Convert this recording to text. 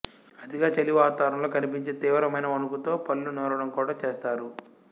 అతిగా చలివాతావరణంలో కనిపించే తీవ్రమైన వణుకుతో పళ్ళు నూరడం కూడా చేస్తారు